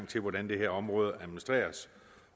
til hvordan det her område skal administreres